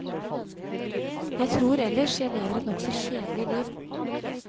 Jeg tror ellers jeg lever et nokså kjedelig liv.